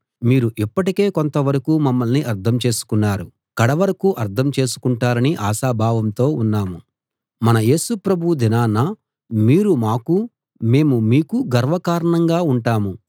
మీరు ఇప్పటికే కొంతవరకూ మమ్మల్ని అర్థం చేసుకున్నారు కడవరకూ అర్థం చేసుకుంటారని ఆశాభావంతో ఉన్నాం మన యేసు ప్రభువు దినాన మీరు మాకూ మేము మీకూ గర్వ కారణంగా ఉంటాం